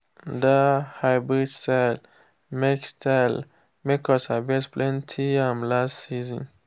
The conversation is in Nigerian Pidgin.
that hybrid style make style make us harvest plenty yam last season.